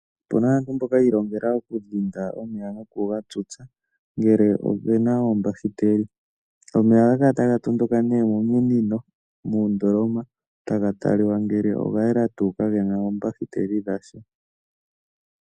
Opena aantu mboka yiilongela okudhinda omeya ngele opena oombashu reeli. Omeya ohaga tondoka nee mominino nomoondoloma taga talika ngele ogayela nawa kagena oombakiteli dhasha.